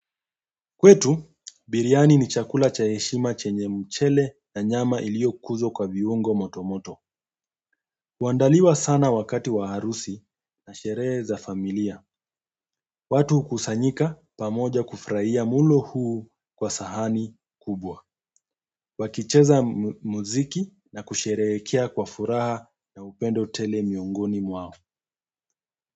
Kwetu biriani ni chakula cha heshima chenye mchele na nyama iloliyokuzwa kwa viungo moto moto. Huandaliwa sana wakati wa harusi na sherehe za familia watu huu kusanyika pamoja kufurahia mulo huu kwa sahani kubwa. Wakicheza muziki na kusherehekea kwa furaha na upendo tele miongoni mwao.